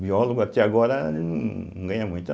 Biólogo, até agora, num não ganha muito.